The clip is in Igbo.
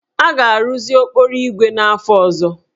A ga-arụzi okporoígwè n'afọ ọzọ?